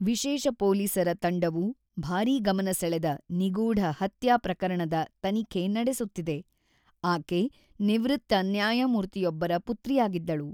ವಿಶೇಷ ಪೊಲೀಸರ ತಂಡವು ಭಾರೀ ಗಮನ ಸೆಳೆದ ನಿಗೂಢ ಹತ್ಯಾ ಪ್ರಕರಣದ ತನಿಖೆ ನಡೆಸುತ್ತಿದೆ, ಆಕೆ ನಿವೃತ್ತ ನ್ಯಾಯಮೂರ್ತಿಯೊಬ್ಬರ ಪುತ್ರಿಯಾಗಿದ್ದಳು.